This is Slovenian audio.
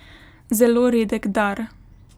Zelo redek dar.